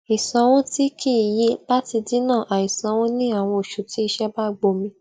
ìsànwo tí kì í yí láti dínà àì sanwó ní àwọn oṣù tí iṣẹ bá gbomi